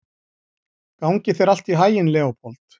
Gangi þér allt í haginn, Leópold.